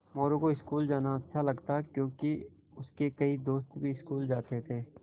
मोरू को स्कूल जाना अच्छा लगता क्योंकि उसके कई दोस्त भी स्कूल जाते थे